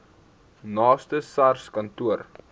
naaste sars kantoor